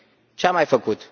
Ce a mai făcut?